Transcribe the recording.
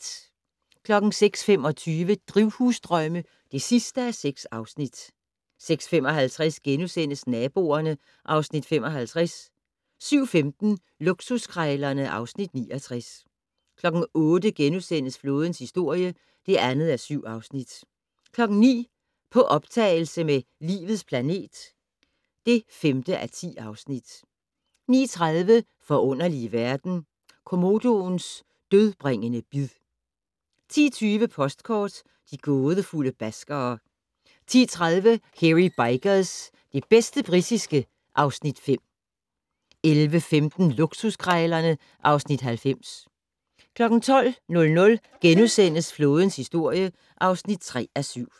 06:25: Drivhusdrømme (6:6) 06:55: Naboerne (Afs. 55)* 07:15: Luksuskrejlerne (Afs. 69) 08:00: Flådens historie (2:7)* 09:00: På optagelse med "Livets planet" (5:10) 09:30: Forunderlige verden - Komodoens dødbringende bid 10:20: Postkort: De gådefulde baskere 10:30: Hairy Bikers - det bedste britiske (Afs. 5) 11:15: Luksuskrejlerne (Afs. 90) 12:00: Flådens historie (3:7)*